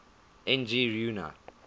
n g rjuna